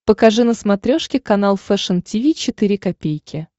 покажи на смотрешке канал фэшн ти ви четыре ка